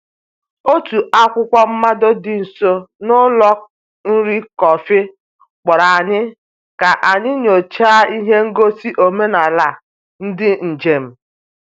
Otu akwụkwọ mmado dị nso n’ụlọ nri kọfị kpọrọ anyị ka anyị nyochaa ihe ngosi omenala ndị njem.